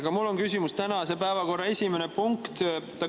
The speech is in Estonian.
Aga mul on küsimus tänase päevakorra esimese punkti kohta.